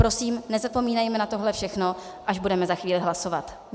Prosím, nezapomínejme na tohle všechno, až budeme za chvíli hlasovat.